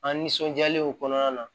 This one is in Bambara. An nisɔndiyalenw kɔnɔna na